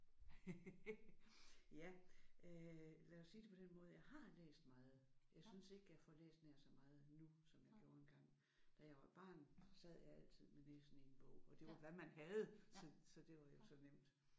Ja øh lad os sige det på den måde jeg har læst meget. Jeg synes ikke jeg får læst nær så meget nu som jeg gjorde engang. Da jeg var barn sad jeg altid med næsen i en bog og det var hvad man havde så så det var jo så nemt